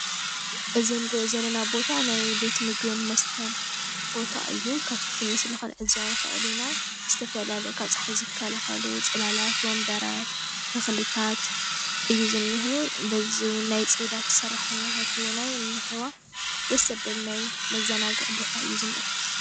እዚ ንርእዮ ዘለና ቦታ ናይ ቤት ምግብን መስተን ቦታ እዩ። ካብቲ ምስሊ ክንዕዘቦ ንክእል ኢና ዝተፈላለዩ ካብ ፀሓይ ዝከላከሉ ፅላላት ወንበራት ተኽልታት እዩ ዝኒሀ በዚ እውን ናይ ፅዳት ሰራሕተኛታት እውናይ እኒሀዋ። ደስ ዘብል ናይ መዘናግዒ ቦታ እዩ ዝኒአ።